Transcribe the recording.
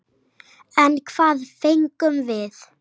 En hvað fengum við?